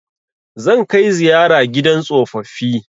Zan kai ziyara gidan tsofaffi